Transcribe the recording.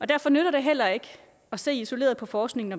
derfor nytter det heller ikke at se isoleret på forskningen